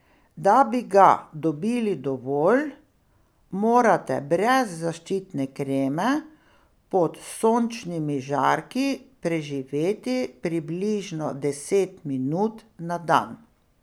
Da bi ga dobili dovolj, morate brez zaščitne kreme pod sončnimi žarki preživeti približno deset minut na dan.